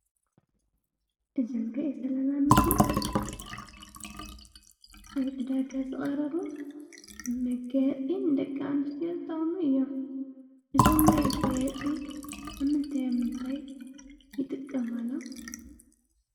እዙይ እንርእዮ ዘለና ምስሊ ኣብ ዕዳጋ ዝቀረቡ መጋየፂ ንደቂ ኣንስትዮ ዝጠቅሙ እዮም። እዞም መጋየፂ ኣብ ምንታይ ምንታይ ይጥቀማሉ?